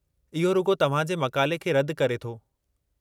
इहो रुॻो तव्हां जे मक़ाले खे रदि करे थो।